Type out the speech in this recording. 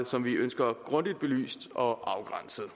som vi ønsker grundigt belyst og afgrænset